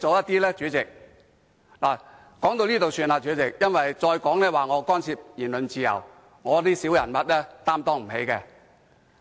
代理主席，我說到這裏便算，因為我再說下去，或會被指干涉言論自由，我這種小人物擔當不起。